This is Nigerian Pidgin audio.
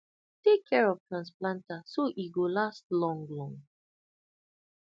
take care of transplanter so e go last long long